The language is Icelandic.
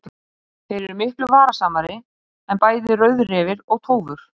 Þeir eru miklu varasamari en bæði rauðrefir og tófur.